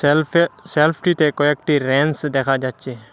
সেলফে সেলফটিতে কয়েকটি রেনস্ দেখা যাচ্ছে।